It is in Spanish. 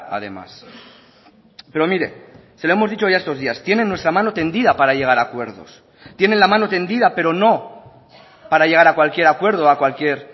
además pero mire se lo hemos dicho ya estos días tienen nuestra mano tendida para llegar a acuerdos tienen la mano tendida pero no para llegar a cualquier acuerdo o a cualquier